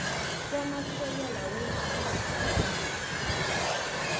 kwamasekela weenkhulu zelwazi